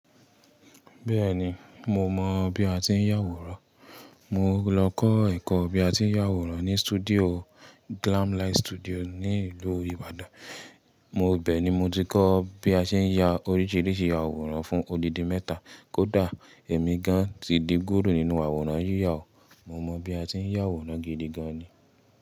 Bẹ́ẹ̀ni, mo mọ̀ bí a ti ń yàwòrán. Mo lọ kọ́ ẹ̀kọ́ bí a ti ń yàwòrán ní studio Glamlight Studio ní ìlú Ìbàdàn. Mo bẹ̀ ni mo ti kọ́ bí a ṣe ń ya oríṣìíríṣìí àwòrán fún odidi mẹ́ta. Kódà èmi gan ti di gúrù nínú àwòrán yíyàwò, mo mọ̀ bí a ti ń yàwòrán gidi gan ni.